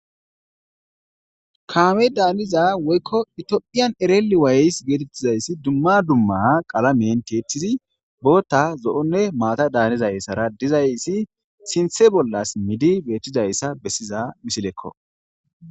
Kame daniza woyko Ethiopian really Ways dumma dumma qalamen tiyetidi bota zo'onne maata danizaysara dizaysa sinthe melidi betizaysa besiza misilekko